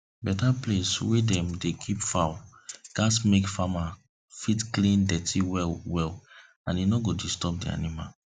better place wey dem dey keep fowl gats make farmer fit clean dirty well well and e no go disturb the animals